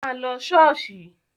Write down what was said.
Má lọ ṣọ́ọ̀ṣì!